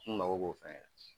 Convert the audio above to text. kun mago b'o fɛnɛ na.